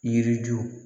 Yiri ju